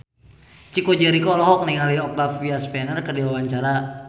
Chico Jericho olohok ningali Octavia Spencer keur diwawancara